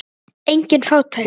Engin fátækt.